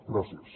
gràcies